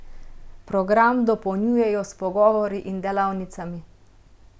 Program dopolnjujejo s pogovori in delavnicami.